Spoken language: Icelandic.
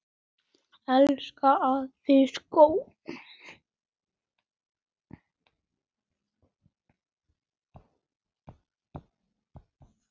Elsku afi Skúli.